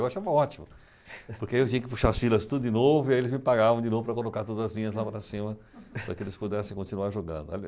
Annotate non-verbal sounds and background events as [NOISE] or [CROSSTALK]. Eu achava ótimo, porque aí eu tinha que puxar as filas tudo de novo e aí eles me pagavam de novo para colocar todas as linhas lá para cima para que eles pudessem continuar jogando. [LAUGHS]